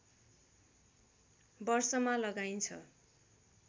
वर्षमा लगाइन्छ